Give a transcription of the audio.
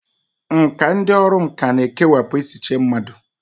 Nkà dị n'ọrụ nkà na-ekewapụ echiche mmadụ.